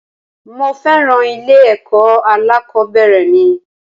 Mo féràn ilé ẹ̀kọ́ alákòbẹ̀rẹ̀ mi.